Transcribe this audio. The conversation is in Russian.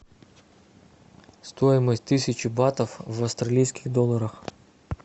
стоимость тысячи батов в австралийских долларах